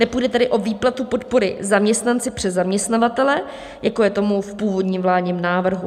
Nepůjde tedy o výplatu podpory zaměstnanci přes zaměstnavatele, jako je tomu v původním vládním návrhu.